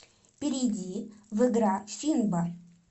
перейди в игра финбо